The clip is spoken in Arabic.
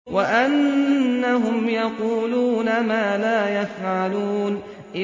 وَأَنَّهُمْ يَقُولُونَ مَا لَا يَفْعَلُونَ